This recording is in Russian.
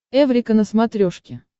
эврика на смотрешке